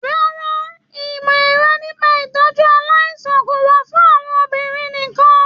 Rárá o, ìmọ ẹ̀kọ́ nípa itọju aláìsàn kò wà fún àwọn obìnrin nìkàn.